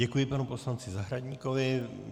Děkuji panu poslanci Zahradníkovi.